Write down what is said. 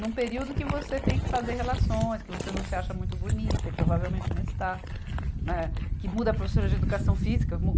num período que você tem que fazer relações, que você não se acha muito bonita e provavelmente não está, né, que muda a professora de Educação Física. mu